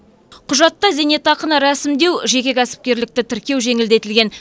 құжатта зейнетақыны рәсімдеу жеке кәсіпкерлікті тіркеу жеңілдетілген